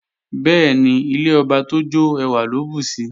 Bẹ́ẹ̀ni, ilé ọba tó jọ́ ẹwà ló bùsi